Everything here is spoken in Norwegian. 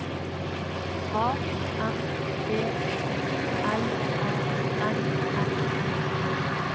A M B U L A N S E